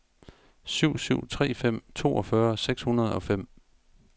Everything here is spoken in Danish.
syv syv tre fem toogfyrre seks hundrede og fem